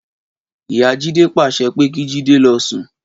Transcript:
Ìyá Jídé pàsẹ pé kí Jídé lọ sùn.